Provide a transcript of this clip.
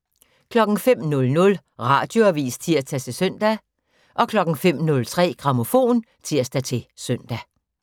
05:00: Radioavis (tir-søn) 05:03: Grammofon (tir-søn)